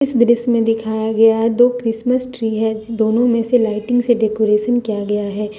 इस दृश्य मे दिखाया गया है दो क्रिसमस ट्री है दोनों में से लाइटिंग से डेकोरेशन किया गया है।